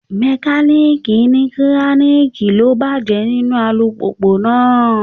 Mekaniiki ní kiraniki ló bàjẹ́ nínú alùpùpù náà.